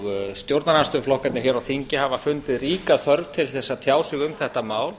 stjórnarandstöðuflokkarnir hér á þingi hafa fundið ríka þörf til að tjá sig um þetta mál